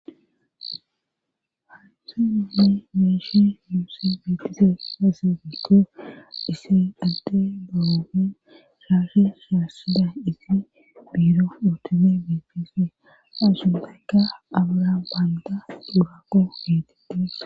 hanhu ninni meeshi muussi bitise kase gito dise dhalde doroi shaashe shaassida isi biiro utime bitise ashubeykka abra baanta durako getites